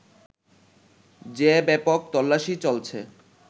যে ব্যাপক তল্লাশি চলছে